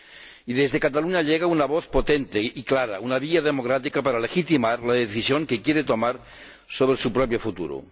Y desde Catalunya llega una voz potente y clara, una vía democrática para legitimar la decisión que quiere tomar sobre su propio futuro.